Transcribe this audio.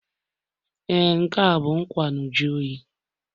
Ee, nke a bụ ngwa nju oyi